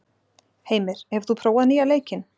Heimir, hefur þú prófað nýja leikinn?